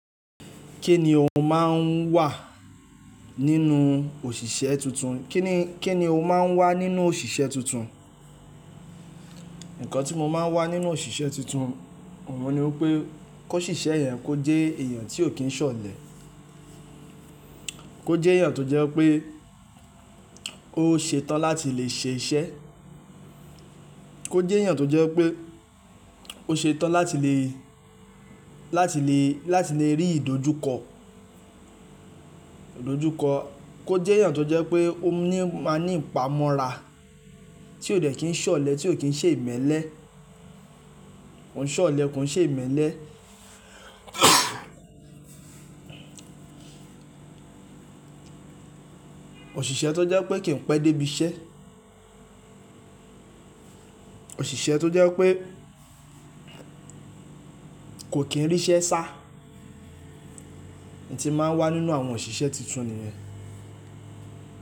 Kí ni o máa ń wà nínú òṣìṣẹ́ tuntun? Kí ni, kí ni o máa ń wà nínú òṣìṣẹ́ tuntun? Ǹkan tí mo máa ń wà nínú òṣìṣẹ́ tuntun, òun ni pé kó ṣìṣẹ́ yẹn kó jẹ́ èèyàn tí ò kí ń ṣọ̀lẹ. Kó jẹ́ èèyàn tó jẹ́ pé ó ṣetán láti lè ṣe iṣẹ́. Kó jẹ́ èèyàn tó jẹ́ pé ó ṣetán láti lè, láti lè, láti lè rí ìdojúkọ, ìdojúkọ. Kó jẹ́ èèyàn tó jẹ́ pé ó ní, máa ní ìpamọ́ra tí ò dẹ̀ kí ń ṣọ̀lẹ, tí ò kí ń ṣe ìmẹ́lẹ́. Kó ń ṣọ̀lẹ kó ń ṣe ìmẹ́lẹ́. Òṣìṣẹ́ tó jẹ́ pé kì ń pẹ́ dé ibi iṣẹ́. Òṣìṣẹ́ tó jẹ́ pé kò kí ń rí iṣẹ́ sá. Ǹti máa ń wà nínú àwọn òṣìṣẹ́ tuntun nìyẹn.